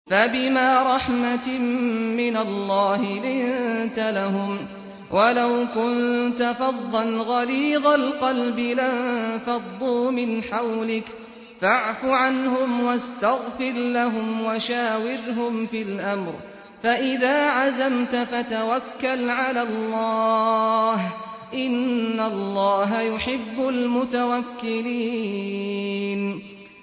فَبِمَا رَحْمَةٍ مِّنَ اللَّهِ لِنتَ لَهُمْ ۖ وَلَوْ كُنتَ فَظًّا غَلِيظَ الْقَلْبِ لَانفَضُّوا مِنْ حَوْلِكَ ۖ فَاعْفُ عَنْهُمْ وَاسْتَغْفِرْ لَهُمْ وَشَاوِرْهُمْ فِي الْأَمْرِ ۖ فَإِذَا عَزَمْتَ فَتَوَكَّلْ عَلَى اللَّهِ ۚ إِنَّ اللَّهَ يُحِبُّ الْمُتَوَكِّلِينَ